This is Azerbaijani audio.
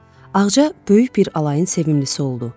Ağca böyük bir alayın sevimlisisi oldu.